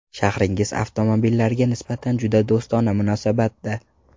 Shahringiz avtomobillarga nisbatan juda do‘stona munosabatda.